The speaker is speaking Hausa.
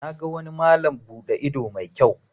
Na ga wani malam bude ido mai kyau.